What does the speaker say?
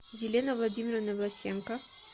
елены владимировны власенко